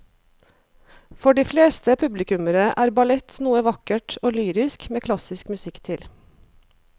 For de fleste publikummere er ballett noe vakkert og lyrisk med klassisk musikk til.